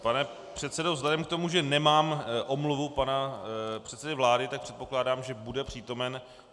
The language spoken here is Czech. Pane předsedo, vzhledem k tomu, že nemám omluvu pana předsedy vlády, tak předpokládám, že bude přítomen.